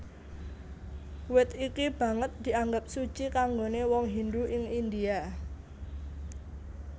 Wit iki banget dianggep suci kanggoné wong Hindu ing India